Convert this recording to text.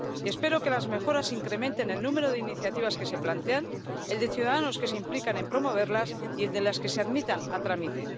Espero que las mejoras incrementen el número de iniciativas que se plantean, el de ciudadanos que se implican en promoverlas y el de las que se admiten a trámite.